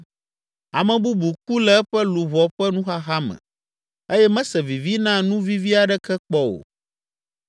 Ame bubu ku le eƒe luʋɔ ƒe nuxaxa me eye mese vivi na nu vivi aɖeke kpɔ o.